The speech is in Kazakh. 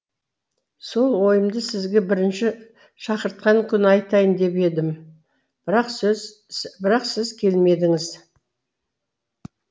сол ойымды сізге бірінші шақыртқан күні айтайын деп едім бірақ сіз бірақ сіз келмедіңіз